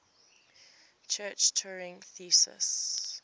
church turing thesis